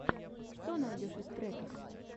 что найдешь из треков